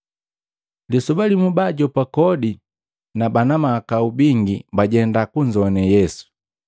Lisoba limu baajopa kodi na bana mahakau bingi bajenda kunzowane Yesu.